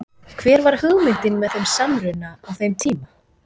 Hver var hugmyndin með þeim samruna á þeim tíma?